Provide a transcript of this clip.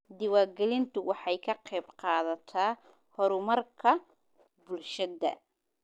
Diiwaangelintu waxay ka qaybqaadataa horumarka bulshada.